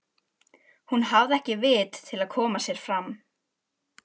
Hún hafði ekki vit til að koma sér áfram.